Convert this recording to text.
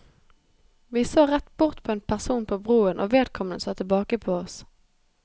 Vi så rett bort på en person på broen, og vedkommende så tilbake på oss.